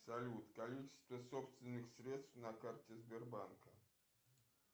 салют количество собственных средств на карте сбербанка